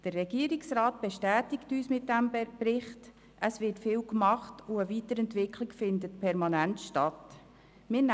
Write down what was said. Der Regierungsrat bestätigt uns mit diesem Bericht, dass viel getan wird und eine Weiterentwicklung permanent stattfindet.